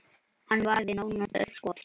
Hann varði nánast öll skot.